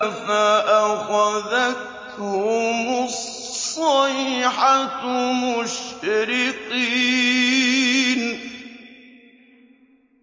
فَأَخَذَتْهُمُ الصَّيْحَةُ مُشْرِقِينَ